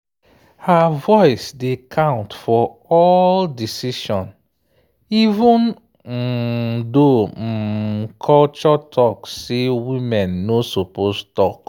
her voice dey count for all decision even um though um culture talk say woman no suppose talk.